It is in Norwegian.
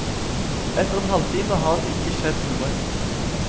Etter en halvtime har det ikke skjedd noe.